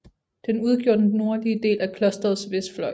Den udgjorde den nordlige del af klosterets vestfløj